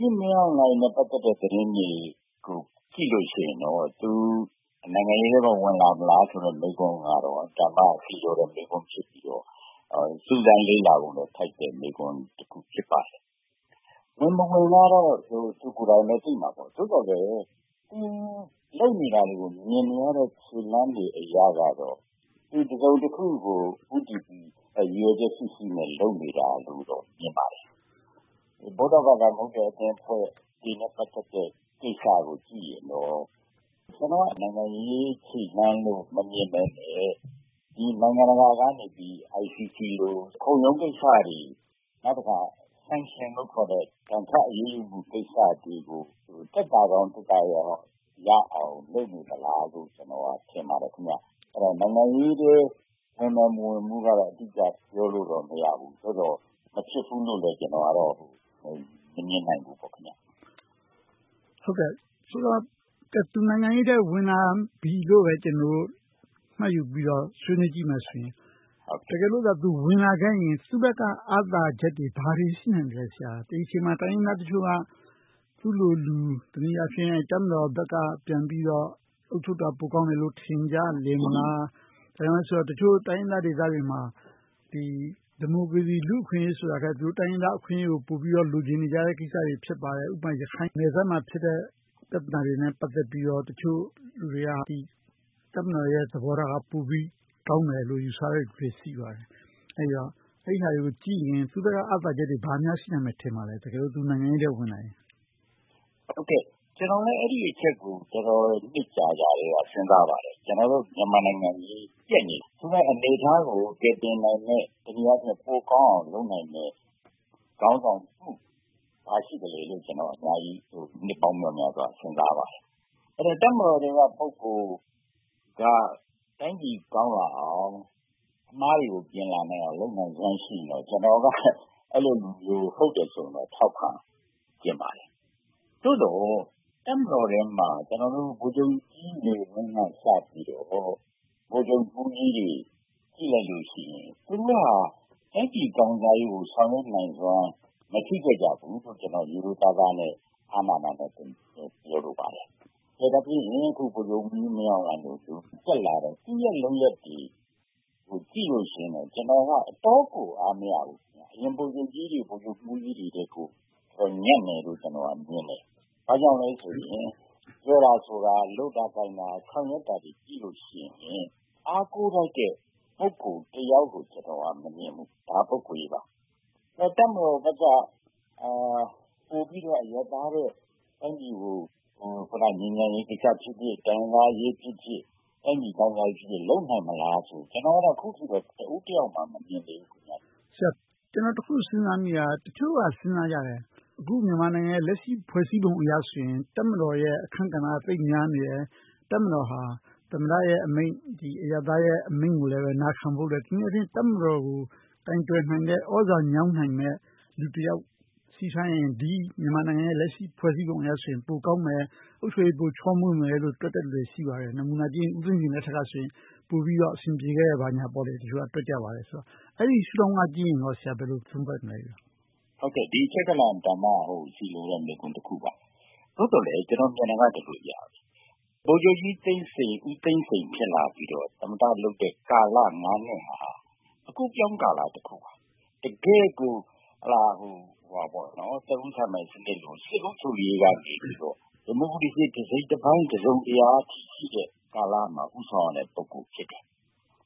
ကြီးမင်းအောင်လှိုင်နဲ့ ပတ်သက်တဲ့ သတင်းတွေကို ကြည့်လို့ရှိရင်တော့ သူ နိုင်ငံရေးထဲကို ဝင်လာမလားဆိုတဲ့ မေးခွန်းကတော့ အင်မတန်မှ ဆီလျော်တဲ့ မေးခွန်းဖြစ်ပြီးတော့ စူးစမ်းလေ့လာထိုက်တဲ့ မေးခွန်းလည်း ဖြစ်ပါတယ်။ ဝင်မဝင်ကတော့ သူကိုယ်တိုင်ပဲ သိမှာပေါ့။ သို့သော်လဲ သူလုပ်နေတာတွေကို မြင်နေရတဲ့ခြေလှမ်းတွေအရတော့ တစုံတခုကို ဦးတည်ပြီး ရည်ရွယ်ချက်ရှိရှိနဲ့ လုပ်နေတာလို့တော့ မြင်ပါတယ်။ ဗုဒ္ဓဘာသာမဟုတ်တဲ့ အသင်းအဖွဲ့နဲ့ ပတ်သက်တဲ့ကိစ္စကိုကြည့်ရင်တော့ နိုင်ငံရေးခြေလှမ်းလို့ မမြင်ဘဲနဲ့ နိုင်ငံတကာကနေ ICT လို ခုံရုံးကိစ္စတွေ။ နောက်တခါ Sanction လို့ခေါ်တဲ့ ဒဏ်ခတ်အရေးယူမှုတွေကို သက်သာရာသက်သာအောင် လုပ်နေသလားလို့ ကျနော်က ထင်ပါတယ်။ နိုင်ငံရေးထဲ ဝင်မယ်မဝင်ဘူးကတော့ အတိအကျ ပြောလို့တော့မရဘူး။ သို့သော် မဖြစ်ဘူးလို့တော့ ကျနော်က မမြင်ဘူး။ ဆိုတော့ သူနိုင်ငံရေးထဲ ဝင်လာပြီလို့ ကျနော်တို့ မှတ်ယူပြီး ဆွေးနွေးကြည့်မယ်ဆိုရင် တကယ်လို့သာ သူဝင်လာခဲ့ရင်၊ သူ့ဘက်က အားသာချက်တွေ ဘာတွေရှိနိုင်သလဲ။ ဒီအချိန်မှာ တိုင်းရင်းသားတချို့က သူ့လိုလူ၊ တနည်းအားဖြင့် တပ်မတော်ဘက်က ပြန်ပြီးတော့ အုပ်ချုပ်တာ ပိုကောင်းမယ်လို့ ထင်ကြမလား။ ဘာဖြစ်လို့လဲဆိုတော့ တချို့တိုင်းရင်းသားဒေသတွေမှာ ဒီမိုကရေစီ လူ့အခွင့်အရေးဆိုတာထက် တိုင်းရင်းသားအခွင့်အရေးကို ပိုလိုချင်နေတဲ့ ကိစ္စတွေ ဖြစ်ပါတယ်။ ဥပမာ ရခိုင်နယ်စပ်မှာ ဖြစ်နေတဲ့ ပြဿနာတွေနဲ့ ပတ်သက်ပြီးတော့ တချို့လူတွေက တပ်မတော်ရဲ့ သဘောထားက ပိုပြီးကောင်းတယ်လို့ ယူဆတဲ့လူတွေ ရှိပါတယ်။ အဲဒါတွေကိုကြည့်ရင် သူ့ဘက်က အားသာချက်တွေ ဘာတွေများရှိမယ်လို့ ထင်ပါသလဲ။ တကယ်လို့ သူနိုင်ငံရေးထဲ ဝင်လာခဲ့ရင်။ ကျနော်လည်း အဲဒီအချက်ကို နှစ်အတော်ကြာကတည်းက စဉ်းစားခဲ့ပါတယ်။ ကျနော်တို့ မြန်မာနိုင်ငံကြီး ပျက်နေ။ နယ်ခြားကို ကယ်တင်နိုင်မယ့် တနည်းအားဖြင့် ပိုကောင်းအောင် လုပ်နိုင်မယ့် ခေါင်းဆောင်မှု ဘာရှိသလဲလို့ ကျနော်က အများကြီး နှစ်ပေါင်းမြောက်မြားစွာ စဉ်းစားပါတယ်။ တပ်မတော်ထဲက ပုဂ္ဂိုလ်က တိုင်းပြည်ကောင်းလာအောင်၊ အမှားတွေကို ပြင်လာနိုင်စွမ်း ရှိရင်တော့ ကျနော်က အဲဒီလူမျိုး ဟုတ်တယ်ဆိုရင်တော့ ထောက်ခံချင်ပါတယ်။ သို့သော် တပ်မတော်ထဲမှာ ဗိုလ်ချုပ်ကြီးနေဝင်းကစပြီးတော့ ဗိုလ်ချုပ်မှူးကြီးတွေ ကြည့်လိုက်လို့ရှိရင် သူတို့က တိုင်းပြည်ကောင်းစားရေးကို ဆောင်ရွက်နိုင်စွမ်း မရှိခဲ့ကြဘူးလို့ ကျနော်အနေနဲ့ ရိုးရိုးသားသား၊ အားနာနာနဲ့ပဲ ပြောလို့ပါတယ်။ ကဲ ဒါဖြင့်ရင် အခုဗိုလ်ချုပ်မှူးကြီး မင်းအောင်လှိုင်တို့လိုမျိုး တက်လာတယ်။ သူ့ရဲ့ လုပ်ရပ်တွေကို ကြည့်လို့ရှိရင် ကျနော့်အနေနဲ့ အတော်လေးကို အားမရဘူး။ အရင်ဗိုလ်ချုပ်မှူးကြီးတွေထက်ကို ညံ့တယ်လို့ မြင်တယ်။ ဘာကြောင့်လဲဆိုရင် ပြောတာဆိုတာ၊ လုပ်တာကိုင်တာ၊ ဆောင်ရွက်တာတွေကို ကြည့်လို့ရှိရင် အားကိုးထိုက်တဲ့ ပုဂ္ဂိုလ်တယောက်လို့ ကျနော်က မမြင်ဘူး။ ဒါဒက ပုဂ္ဂိုလ်ရေးပါ။ နောက် တပ်မတော်ဘက်က ပိုပြီးတော့ အရပ်သားထက် တိုင်းပြည်ကို ငြိမ်းချမ်းရေးကိစ္စဖြစ်ဖြစ်၊ တိုင်းရင်းသားအရေးဖြစ်ဖြစ်၊ တိုင်းပြည်ကောင်းစားရေး လုပ်နိုင်မလားဆိုရင် အခုထက်ထိ တဦးတယောက်မှ မမြင်သေးဘူး။ ကျနော် တခု စဉ်းစားမိတာက တချို့ကစဉ်းစားကြတယ်။ လက်ရှိ ဖွဲ့စည်းပုံအရဆိုရင် တပ်မတော်ရဲ့အခန်းကဏ္ဍက သိပ်များနေတယ်။ တပ်မတော်ဟာ သမ္မတရဲ့အမိန့် အရပ်သားရဲ့အမိန့်ကိုလည်း နာခံဖို့အတွက် တဖြည်းဖြည်း တပ်မတော်ကို ကိုင်တွယ်နိုင်မယ့်၊ သြဇာညောင်းနိုင်မယ့် လူတယောက်ရှိထားရင် ဒီမြန်မာနိုင်ငံရဲ့ လက်ရှိဖွဲ့စည်းပုံနဲ့ဆို ပိုကောင်းမယ်။ အုပ်ချုပ်ရေး ပိုချောမွေ့မယ်လို့ တွက်တဲ့လူလည်း ရှိပါတယ်။ နမူနာအားဖြင့် ဦးသိန်းစိန်လက်ထက်ကဆိုရင် ပိုပြီးတော့ အဆင်ပြေခဲ့တယ်လို့ ပြောကြပါတယ်။ အဲဒီတုန်းကကြည့်ရင်ကော ဘယ်လိုသုံးသပ်မလဲ။ ဒါ ဆီလျော်တဲ့ မေးခွန်းတခုပါ။ သို့သော်လဲ ကျနော်မြင်တာက ဗိုလ်ချုပ်ကြီးသိန်းစိန်၊ ဦးသိန်းစိန် ဖြစ်လာပြီးတော့ သမ္မတလုပ်တဲ့ နှစ်ဟာ အကူအပြောင်းကာလတခုပါ။ တကယ့်ကို သက်ဦးစံပိုင်စနစ်လို့ စစ်အုပ်ချုပ်ရေးကနေ ဒီမိုကရေစီ တစိတ်တပိုင်း၊ တစုံတရာအထိရှိတဲ့ ကာလမှာ ဦးဆောင်ရတဲ့ ပုဂ္ဂိုလ်ဖြစ်တယ်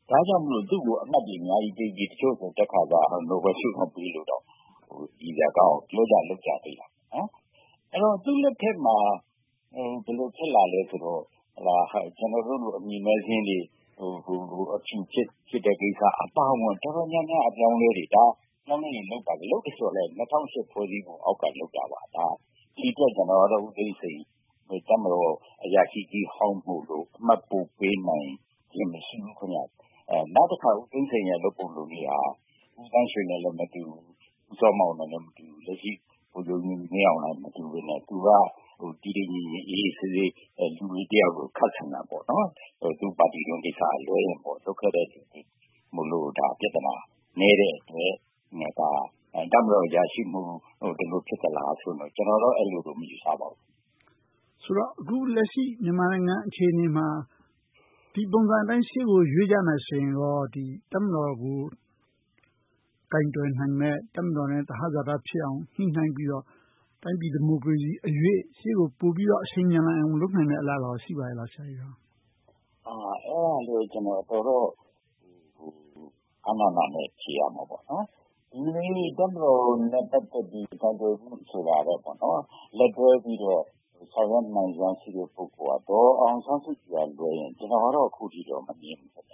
။ ဒါကြောင့်မို့ သူ့ကို အမှတ်တွေအများကြီးပေးပြီး တချို့က တက်ခါစက နိုဘယ်ဆုတောင်ပေးဖို့ ပြောကြလို့ ရယ်စရာကောင်းအောင် ပြောကြလုပ်ကြတယ်။ အဲဒီတော့ သူ့လက်ထက်မှာ ဘယ်လိုဖြစ်လာလဲဆိုတော့ ကျနော်တို့လို အမည်မဲစာရင်းတွေ အဖြူဖြစ်တဲ့ကိစ္စအပါအဝင် တော်တော်များများကိစ္စတွေ၊ အပြောင်းအလဲတွေ လုပ်ပါတယ်။ လုပ်တာတွေက ၂၀၀၈ ဖွဲ့စည်းပုံအောက်က လုပ်တာပါ။ ဒီအတွက် ကျနော်က ဦးသိန်းစိန်ကို တပ်မတော်အရာရှိကြီးဟောင်းဆိုပြီး အမှတ်ပိုပေးနိုင်ခြင်း မရှိဘူး။ နောက်တခါ ဦးသိန်းစိန်ရဲ့ လုပ်ပုံလုပ်နည်းက ဦးသန်းရွှေနဲ့လည်း မတူဘူး။ ဦးစောမောင်နဲ့လည်း မတူဘူး။ လက်ရှိ ဗိုလ်ချုပ်မှူးကြိးမင်းအောင်လှိုင်နဲ့ မတူပေမယ့် သူက တည်တည်ငြိမ်ငြိမ်၊ အေးအေးဆေးဆေး လူကြီးတယောက်လို ရှိတာပေါ့။ သူ့ပါတီတွင်းကိစ္စကလွဲရင် လုပ်ခဲ့တာတွေမှာ ပြဿနာနည်းတဲ့အတွက် တပ်မတော်အရာရှိဖြစ်လို့ ဒီလိုဖြစ်သလားဆိုတာကိုတော့ ကျနော်က အဲဒီလို မယူဆပါဘူး။ ဆိုတော့ အခုလက်ရှိ မြန်မာနိုင်ငံ အခြေအနေမှာ ဒီပုံစံအတိုင်း ရှေ့ကိုရွေ့ကြမယ်ဆိုရင် တပ်မတော်ကို ကိုင်တွယ်နိုင်မယ့်၊ တပ်မတော်နဲ့ သဟဇာတဖြစ်အောင် ညှိနှိုင်းပြီးတော့ တိုင်းပြည်ဒီမိုကရေစီအရွေ့ ပိုပြီးတော့ အရှိန်မြန်လာအောင် လုပ်နိုင်မယ့်အလားအလာကော ရှိပါ့ရဲ့လား။ အဲဒါကိုလဲ အားနာနာနဲ့ ဖြေရမှာပေါ့။ ဒီနေ့ တပ်မတော်နဲ့ ပတ်သက်ပြီး ကိုင်တွယ်ဖို့ဆိုတာထက်၊ လက်တွဲပြီးတော့ ဆောင်ရွက်နိုင်စွမ်း ရှိသူက ဒေါ်အောင်ဆန်းစုကြည်ကလွဲရင် ကျနော်ကတော့ အခုထက်ထိ မမြင်ဘူး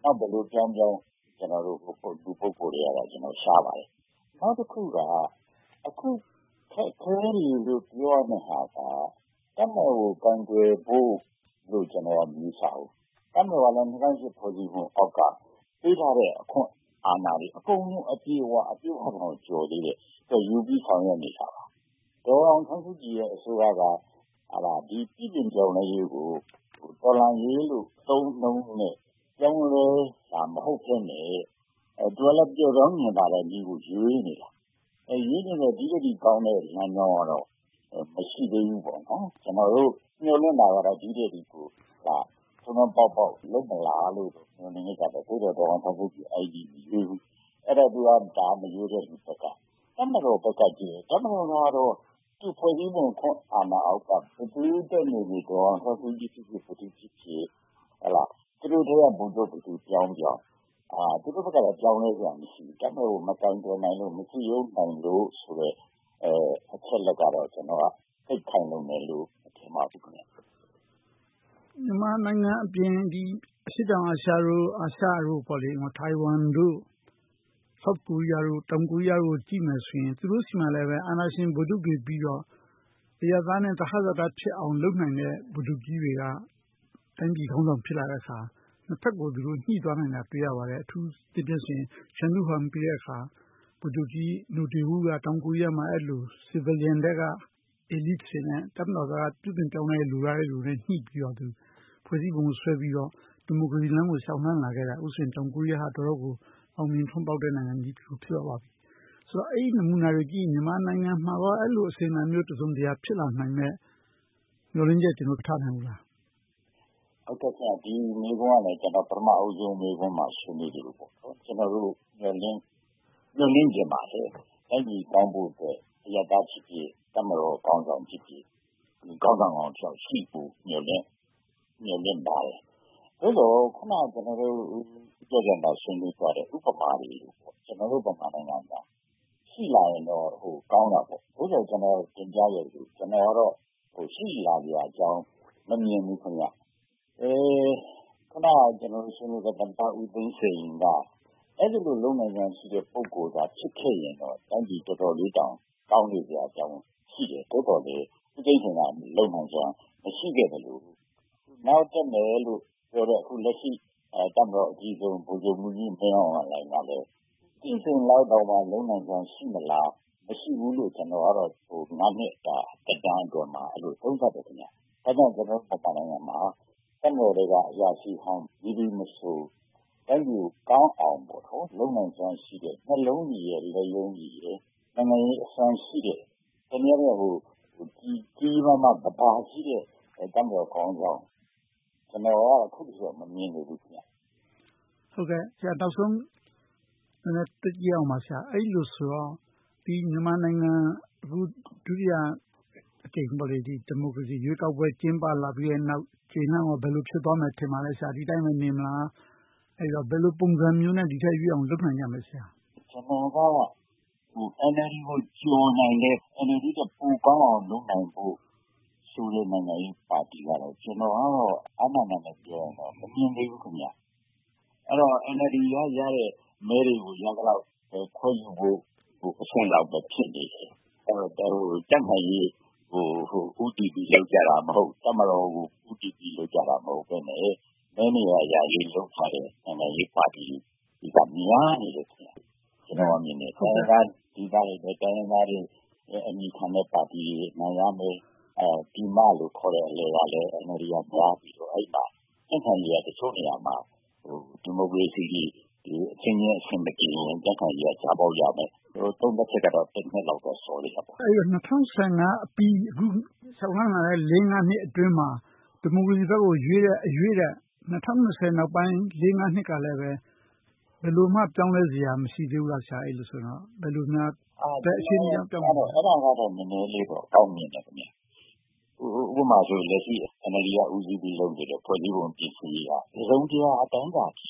။ နောက်ဘယ်လိုပြောင်းပြောင်း လူ ပုဂ္ဂိုလ်တွေထဲကတော့ ရှားပါတယ်။ နောက်တခုက အခုခက်ခဲတယ်လို့ ပြောရမယ့်အစား တပ်မတော်ကို ကိုင်တွယ်ဖို့လို့ ကျနော်က မယူဆဘူး။ တပ်မတော်ကလဲ ၂၀၀၈ ဖွဲ့စည်းပုံအောက်က ပေးထားတဲ့ အခွင့်အာဏာတွေ အကုန်လုံးကို အပြည့်အဝ၊ အပြည့်အဝတောင် ကျော်သေးတယ်။ သူက ယူပြီးတော့ ဆောင်ရွက်နေတာပါ။ ဒေါ်အောင်ဆန်းစုကြည်ရဲ့ အစိုးရက ပြုပြင်ပြောင်းလဲရေးကို တော်လှန်ရေးလို့ အသုံးအနှုန်းနဲ့ ပြောင်းလဲတာ မဟုတ်ဘဲနဲ့ သူကလဲ ပျော့ပျောင်းညင်သာတဲ့နည်းကို ရွေးနေတာ။ အဲဒီထက်ပိုကောင်းတဲ့ လမ်းကြောင်းကတော့ မရှိသေးဘူး ကျနော်တို့ မျှော်လင့်တာကတော့ ဒီနေ့ထက်ထိကို ထွန်းထွန်းပေါက်ပေါက် လုပ်မလာလို့ မျှော်လင့်နေတယ်။ သို့သော် ဒီနေ့အထိတော့ မရွေ့သေးဘူး။ ဒါက မရွေ့တဲ့လူဘက်က၊ တပ်မတော်ဘက်ကကြည့်ရင် တပ်မတော်ကတော့ သူ့ဖွဲ့စည်းပုံ အာဏာအောက်က ဘယ်သူတက်နေနေ ဒေါ်အောင်ဆန်းစုကြည်ဖြစ်ဖြစ်၊ ဗိုလ်ချုပ်မှူးကြီးဖြစ်ဖြစ် သူတို့ထဲက ဗိုလ်ချုပ် ဘယ်သူပြောင်းပြောင်း၊ သူတို့ဘက်က ပြောင်းလဲစရာ မရှိဘူး။ တပ်မတော်ကို မပြောင်းလဲနိုင်လို့၊ မစည်းရုံးနိုင်လို့ဆိုတဲ့ အချက်အလက်ကတော့ သိပ်ခိုင်လုံတယ်လို့ မထင်ပါဘူး။ မြန်မာနိုင်ငံအပြင် အရှေ့တောင်အာရှတို့၊ အာရှနိုင်ငံတွေဖြစ်တဲ့ ထိုင်းဝမ်၊ တောင်ကိုရီးယားတို့ကို ကြည့်မယ်ဆိုရင် သူတို့ဆီမှာ အာဏာရှင် ဗိုလ်ချုပ်တွေပြီးတော့ အရပ်သားနဲ့ သဟဇာတဖြစ်အောင် လုပ်နိုင်တဲ့ ဗိုလ်ချုပ်ကြီးတွေက တိုင်းပြည်ခေါင်းဆောင်တွေ ဖြစ်လာတဲ့အခါ နှစ်ဘက်ကို သူတို့ညှိသွားတာ တွေ့ရပါတယ်။ အထူးအားဖြင့် ချန်ဒူးဝမ်နောက် ဗိုလ်ချုပ်ကြီးနိုတေးဝူးက အဲဒီလို အရပ်သားထဲက ခေါင်းဆောင်တွေနဲ့ တပ်မတော်ထဲက ပြုပြင်ပြောင်းလဲဖို့ လိုလားတဲ့လူတွေနဲ့ ညှိပြီးတော့ ဖွဲ့စည်းပုံဆွဲပြီးတော့ ဒီမိုကရေစီလမ်းကို လျှောက်လှမ်းလာလိုက်တာ အခုဆိုရင် တောင်ကိုရီးယားက အောင်မြင်ထွန်းပေါက်တဲ့နိုင်ငံကြီး ဖြစ်လာပါပြီ။ ဆိုတော့ အဲဒီနမူနာတွေကိုကြည့်ရင် မြန်မာနိုင်ငံမှာကော အဲဒီလို အစဉ်အလာမျိုး တစုံတရာ ဖြစ်လာနိုင်မယ့် မျှော်လင့်ချက် မထားနိုင်ဘူးလား။ ဒီမေးခွန်းကလဲ ပထမဦးဆုံးမေးခွန်းမှာ ဆွေးနွေးသလို - ကျနော်တို့ မျှော်လင့်ချင်ပါတယ်။ တိုင်းပြည်ကောင်းဖို့အတွက် အရပ်သားဖြစ်ဖြစ်၊ တပ်မတော်ခေါင်းဆောင်ဖြစ်ဖြစ်၊ ခေါင်းဆောင်ကောင်းတယောက်ရှိဖို့ မျှော်လင့်ပါတယ်။ သို့သော် အခုန ကျနော်တို့ ဦးကျော်ဇံသာ ဆွေးနွေးသွားတဲ့ ဥပမာတွေလို ကျနော်တို့ မြန်မာနိုင်ငံမှာ ရှိလာခဲ့ရင်တော့ ကောင်းတာပေါ့။ သို့သော် တင်ပြခဲ့သလို ကျနော်ကတော့ ရှိလာစရာအကြောင်း မမြင်ဘူး။ အခုနပြောခဲ့သလို သမ္မတဦးသိန်းစိန်က အဲဒီလိုလုပ်နိုင်စွမ်းရှိတဲ့ ပုဂ္ဂိုလ်သာ ဖြစ်ခဲ့ရင် တိုင်းပြည်တော်တော်လေးတောင် ကောင်းနေစရာရှိတယ်။ သို့သော် ဦးသိန်းစိန် လုပ်နိုင်စွမ်း မရှိခဲ့သလို၊ နောက်တက်မယ်လို့ ပြောတဲ့ အခုလက်ရှိ တပ်မတော်အကြီးဆုံး ဗိုလ်ချုပ်မှူးကြီး မင်းအောင်လှိုင်ကလည်း ဦးသိန်းစိန်လောက်တောင် လုပ်နိုင်စွမ်း ရှိလာဆို မလုပ်နိုင်ဘူးလို့ နှစ်တာ သက်တမ်းအတွင်းမှာ အဲဒီလို သုံးသပ်တယ်။ ကျနော်တို့ မြန်မာနိုင်ငံမှာ တပ်မတော်ထဲက အရာရှိဟောင်း မည်သူမဆို တိုင်းပြည်ကိုကောင်းအောင် လုပ်နိုင်စွမ်းရှိတဲ့ နှလုံးရည်၊ လက်ရုံးရည်၊ နိုင်ငံရေးအစွမ်းရှိတဲ့ တနည်းအားဖြင့် ကြီးကြီးမားမား သဘာရှိတဲ့ တပ်မတော်ခေါင်းဆောင်ကို ကျနော်ကတော့ အခုအချိန်အထိ မမြင်သေးဘူး။ နောက်ဆုံး နည်းနည်းတွက်ကြည့်ရအောင်ပါ။ အဲဒီလိုဆိုတော့ အခုမြန်မာနိုင်ငံမှာ ဒုတိယအကြိမ် ဒီမိုကရေစီရွေးကောက်ပွဲ ကျင်းပလာပြီးနောက် ခြေလှမ်းအခြေအနေ ဘယ်လို ဖြစ်သွားမလဲ။ ဒီအတိုင်းပဲ နေမလား ဘယ်လိုပုံစံမျိုးနဲ့ ဒီထက်ရွေ့အောင် လုပ်နိုင်ကြမလဲ။ ကျနော်က NLD ကို ကျော်နိုင်တဲ့ ပိုကောင်းအောင် လုပ်နိုင်ဖို့ဆိုတဲ့ နိုင်ငံရေးပါတီကတော့ အားနာနာနဲ့ပြောရင် မမြင်သေးဘူး။ အဲဒီတော့ NLD က ရတဲ့ မဲတွေတွေကို ရသလောက် ခွဲယူဖို့လောက်အဆင့်ပဲ ဖြစ်နေတယ်။ ဒါကို ကြံ့ခိုင်ရေးကို ဦးတည်ပြီး လုပ်ကြတာ၊ တပ်မတော်ကို ဦးတည်ပြီး လုပ်ကြတာ မဟုတ်ဘဲနဲ့ မဲရရေး လုပ်ကြတဲ့ နိုင်ငံရေးပါတီတွေက များနေတယ်။ တိုင်းရင်းသားဒေသတွေမှာလဲ တိုင်းရင်းသားတွေ အမည်ခံတဲ့ပါတီတွေ နိုင်ရမယ်။ ပြည်မလို့ခေါ်တဲ့ အလယ်မှာလဲ NLD က သွားပြီးတော့ အဲဒီမှာ ကြံ့ခိုင်ရေးက တချို့ဒေသတွေမှာ ဒီမိုကရေစီတွေအချင်းချင်း အဆင်မပြေရင် ကြားပေါက်ရမယ်။ သုံးသပ်ကတော့ နည်းနည်းတော့ စောသေးတာပေါ့။ အဲဒီတော့ ၂၀၁၅ အပြီး အခုကုန်ဆုံးလာတဲ့ လေးငါးနှစ်အတွင်းမှာ ဒီမိုကရေစီဘက်ကို ရွေ့တဲ့အရွေ့ထက် ၂၀၂၀ နောက်ပိုင်း လေးငါးနှစ်ကလဲ ဘယ်လိုမှ ပြောင်းလဲစရာ မရှိသေးဘူးလား။ အဲဒီလိုဆိုရင်… ဘယ်အခြေအနေရောက်မှ ပြောင်းမလဲ။ အဲဒါကတော့ နည်းနည်းလေးတော့ အောင်မြင်တယ်။ အခုဆိုရင် NLD က ဦးစီးပြီးလုပ်နေတဲ့ ဖွဲ့စည်းပုံ ပြင်ဆင်ရေးက တစုံတရာ အတိုင်းအတာတခု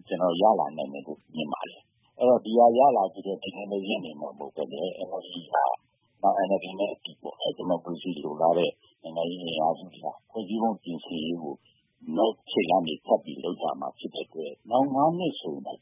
အထိ ရလာနိုင်မယ်လို့ ကျနော်က မြင်ပါတယ်။ အဲဒီတော့ ဒီဟာ ရလာပြီးနောက် ရပ်နေမှာမဟုတ်ဘဲ NLD က ဒီမိုကရေစီ လိုလားတဲ့ ဒီမိုကရေစီအင်အားစုတွေက ဖွံ့ဖြိုးမှုပြင်ဆင်ရေးကို နောက်ခြေလှမ်းတွေထပ်ပြီး လုပ်လာမှာဖြစ်တယ့်အတွက် နောက် နှစ်ဆိုရင်တော့ ကျ